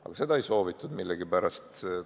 Aga seda millegipärast ei soovitud.